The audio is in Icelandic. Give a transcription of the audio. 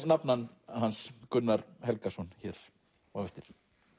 nafna hans Gunnar Helgason hér á eftir